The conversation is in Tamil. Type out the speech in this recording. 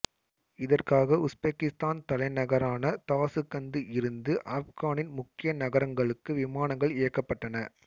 இதற்காக உசுபெக்கிசுத்தான் தலைநகரான தாசுகந்து இருந்து ஆப்கனின் முக்கிய நகரங்களுக்கு விமானங்கள் இயக்கப்பட்டன